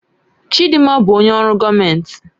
Chidinma bụ onye ọrụ gọọmentị